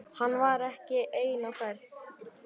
Hann var ekki einn á ferð.